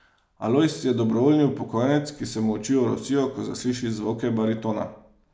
Alojz je dobrovoljni upokojenec, ki se mu oči orosijo, ko zasliši zvoke baritona.